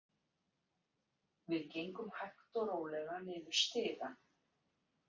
Við gengum hægt og rólega niður stigann.